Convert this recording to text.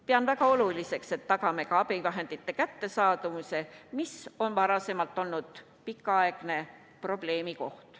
Pean väga oluliseks, et me tagame abivahendite kättesaadavuse, varem on see kaua aega olnud suur probleem.